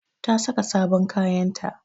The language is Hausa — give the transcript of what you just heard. Ta saka sabon kayanta